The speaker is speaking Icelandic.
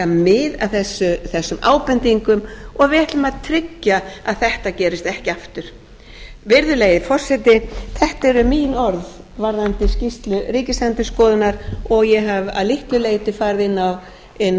þess ábendingum og við ætlum að tryggja að þetta gerist ekki aftur virðulegi forseti þetta eru mín orð varðandi skýrslu ríkisendurskoðunar og ég hef að litlu leyti farið inn